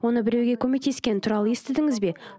оны біреуге көмектескені туралы естідіңіз бе